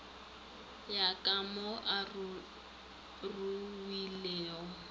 ya ka mo a ruwilego